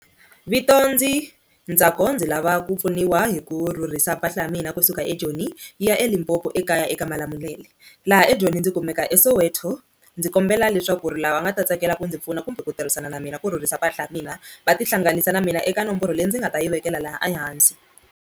Vito ndzi Ntsako ndzi lava ku pfuniwa hi ku rhurhisa mpahla ya mina kusuka eJoni yi ya eLimpopo ekaya eka Malamulele, laha eJoni ndzi kumeka eSoweto ndzi kombela leswaku ri lava nga ta tsakela ku ndzi pfuna kumbe ku tirhisana na mina ku rhurhisa mpahla ya mina va tihlanganisa na mina eka nomboro leyi ndzi nga ta yi vekela laha ehansi.